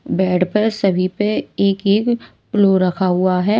Bed पर सभी पर एक-एक पिलो रखा हुआ है।